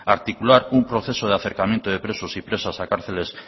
articular un proceso de acercamiento de presos y presas a cárceles